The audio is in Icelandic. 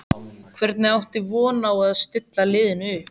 Hvernig áttu von á að stilla liðinu upp?